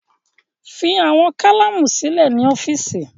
Fi awọn kalamu silẹ ni ọfiisi